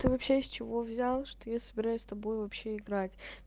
ты вообще из чего взял что я собираюсь с тобой вообще играть